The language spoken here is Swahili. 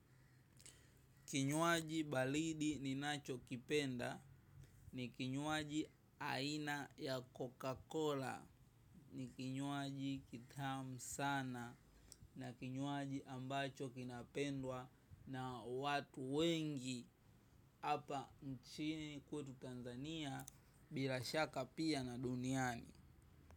Kinywaji baridi ninacho kipenda ni kinywaji aina ya Coca-Cola ni kinywaji kitam sana na kinywaji ambacho kinapendwa na watu wengi hapa nchini kwetu Tanzania bila shaka pia na duniani.